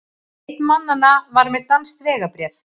Einn mannanna var með danskt vegabréf